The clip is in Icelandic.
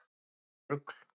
Það var rugl